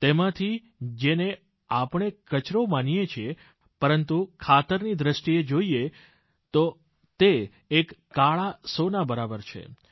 તેમાંથી જેને આપણે કચરો માનીએછીએ પરંતુ ખાતરની દ્રષ્ટિએ જોઈએ તો તે એક કાળા સોના બરાબર હોય છે